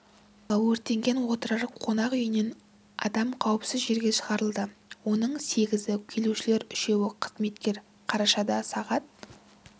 алматыдағы өртенген отырар қонақ үйінен адам қауіпсіз жерге шығарылды оның сегізі келушілер үшеуі қызметкер қарашада сағ